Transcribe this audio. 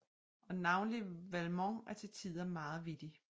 Og navnlig Valmont er til tider meget vittig